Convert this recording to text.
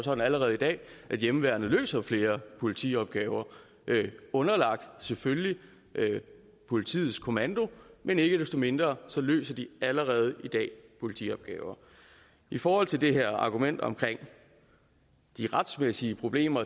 sådan allerede i dag at hjemmeværnet løser flere politiopgaver underlagt selvfølgelig politiets kommando men ikke desto mindre løser de allerede i dag politiopgaver i forhold til det her argument omkring de retsmæssige problemer